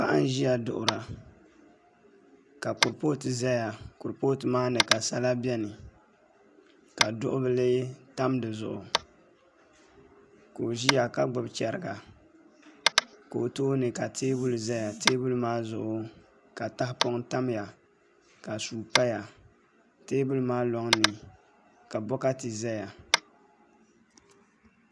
Paɣa n ʒiya duɣura ka kuripooti ʒɛya kuripooti maa ni ka sala bɛni ka duɣu bili tam dizuɣu ka o ʒiya ka gbubi chɛriga ka o tooni ka teenuli ʒɛya teebuli maa zuɣu ka tahapoŋ tamya ka suu paya teebuli maa loŋni ka bokati ʒɛya